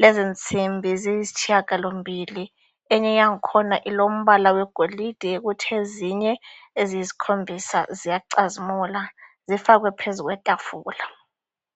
,lezi nsimbi ziyisitshiyagalombili .Enye yangikhona ilombala wegolide kuthi ezinye eziyisikhombisa ziyacazimula zifakwe phezu kwetafula.